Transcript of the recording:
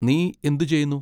നീ എന്ത് ചെയ്യുന്നു?